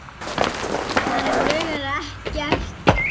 Hana grunar ekkert.